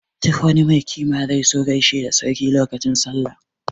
Duk wani mai kima zai zo gaishe da sarki lokacin Sallah.